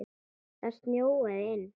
Það snjóaði inn.